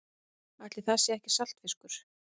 Ætli það sé ekki saltfiskur.